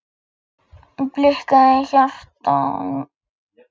Blikkaði hjartaknúsarann og klappaði á pokann.